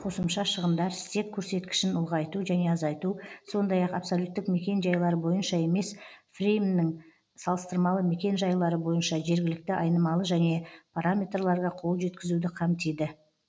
қосымша шығындар стек көрсеткішін ұлғайту және азайту сондай ақ абсолюттік мекен жайлар бойынша емес фреймнің салыстырмалы мекен жайлары бойынша жергілікті айнымалы және параметрларга қол жеткізуді қамтиды